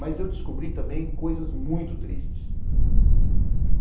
Mas eu descobri também coisas muito tristes.